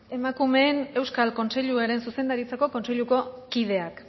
emakumearen euskal erakundearen zuzendaritza kontseiluko kideak